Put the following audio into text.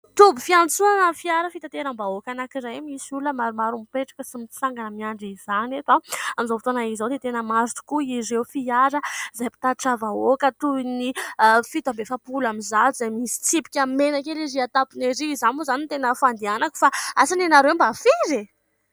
Toby fiantsonana fiara fitanteram-bahoaka anankiray misy olona maromaro mipetraka sy mitsangana miandry izany eto. Amin'izao fotoana izao dia tena maro tokoa ireo fiara izay mpitatitra vahoaka toy ny fito amby efapolo amby zato izay misy tsipika mena kely ery amin'ny tapony ery. Izany moa izany ny tena fandehanako fa asa ny anareo mba firy eh ?